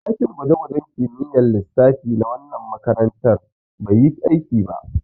Ɗakin gwaje-gwajen kimiyyar lissafi na wannan makaranta bai yi aiki ba.